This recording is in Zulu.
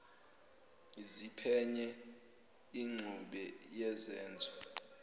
ziphenye ingxube yezenzo